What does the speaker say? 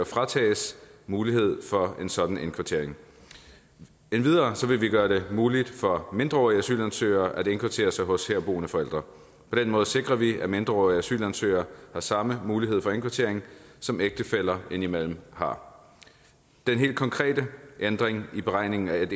fritages mulighed for en sådan indkvartering endvidere vil vi gøre det muligt for mindreårige asylansøgere at indkvartere sig hos herboende forældre på den måde sikrer vi at mindreårige asylansøgere har samme mulighed for indkvartering som ægtefæller indimellem har den helt konkrete ændring i beregningen af